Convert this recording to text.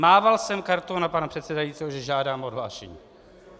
Mával jsem kartou na pana předsedajícího, že žádám o odhlášení.